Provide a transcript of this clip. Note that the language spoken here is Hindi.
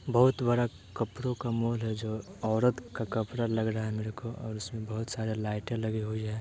बहुत बड़ा कपड़ों का माल है जो औरत का कपड़ा लग रहा है मेरे को और बहुत सारा लाइटे लगी हुई है।